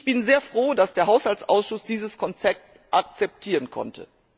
Ich bin sehr froh, dass der Haushaltsausschuss dieses Konzept akzeptieren konnte.